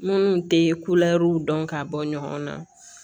Minnu tɛ kulɛriw dɔn k'a bɔ ɲɔgɔn na